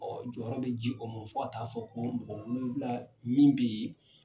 jɔyɔrɔ bɛ ji o ma fɔ ka taa fɔ ko nkɔ mun fila min be yee